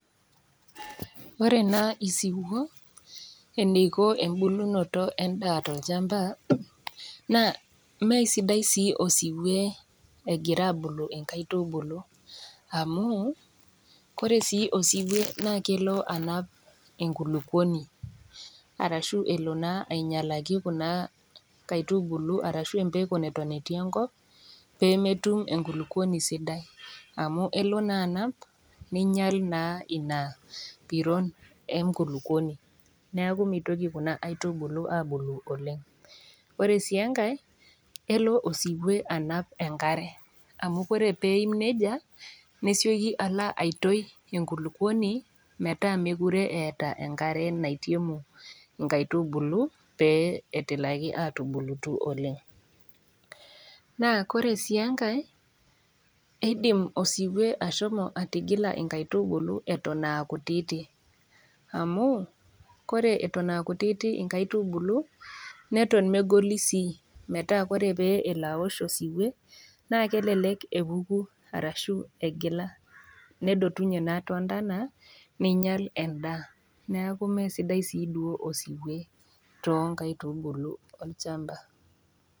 Ore naa isiwuo eneiko embulunoto endaa tolchamba naa, meisidai sii osiwe egira abulu inkaitubulu, amu, ore sii osiwe naa elo anap enkulukuoni arashu elo naa ainyalaki kuna kaitubulu arashu empeko neton etii enkop pee metum enkulukuoni sidai amu elo naa anap neinyal naa Ina piron enkulukuoni neaku meitoki Kuna aitubulu abulu oleng'. Ore sii enkai, elo osiwe anap enkare amu ore pee eim neija, nesioki alo atoyu enkulukuoni metaa mekuree eata enkare naitiemu inkaitubulu pee etumoki atubulutu oleng', naa ore sii enkai, eidim osiwe ashomo atigila inkaitubulu eton aa kutiti, amu ore Eton aa kutiti inkaitubulu teneoshi osiwe, naa elelek epuku arashu egila naa too ndana neinyal endaa neaku Mee sidai sii duo inkaitubulu too imbaa olchamba.